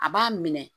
A b'a minɛ